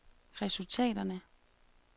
resultaterne